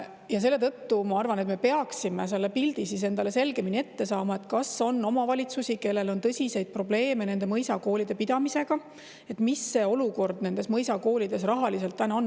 Ja selle tõttu ma arvan, et me peaksime selle pildi endale selgemini ette saama, kas on omavalitsusi, kellel on tõsiseid probleeme nende mõisakoolide pidamisega, ja milline olukord nendes mõisakoolides rahaliselt on.